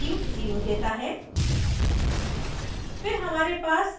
पहला object value 0 देता है